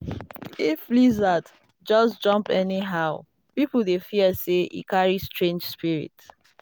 if lizard just jump anyhow people dey fear say e carry strange spirit.